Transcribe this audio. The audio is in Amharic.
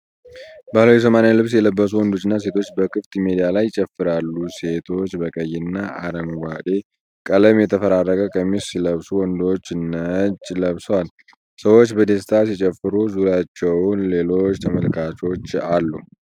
ባህላዊ የሶማሌ ልብስ የለበሱ ወንዶችና ሴቶች በክፍት ሜዳ ላይ ይጨፍራሉ። ሴቶቹ በቀይ እና አረንጓዴ ቀለም የተፈራረቀ ቀሚስ ሲለብሱ ወንዶቹ ነጭ ለብሰዋል። ሰዎች በደስታ ሲጨፍሩ ዙሪያቸውን ሌሎች ተመልካቾች አሉ።